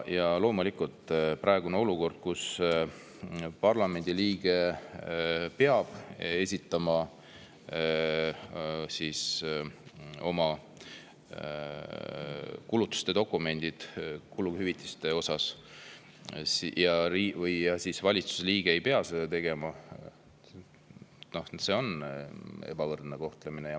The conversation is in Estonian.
Ja loomulikult on praeguses olukorras, kus parlamendi liige peab esitama kuluhüvitise puhul kuludokumendid, aga valitsuse liige ei pea seda tegema, ebavõrdne kohtlemine.